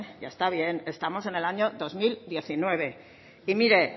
ya está bien estamos en el año dos mil diecinueve y mire